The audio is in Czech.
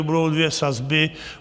Budou dvě sazby.